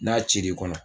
N'a cir'i kɔnɔ